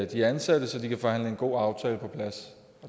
de ansatte så de kan forhandle en god aftale på plads